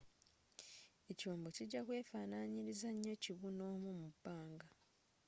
ekyombo kijja kweefaananyiriza nnyo kibun'omu mu bbanga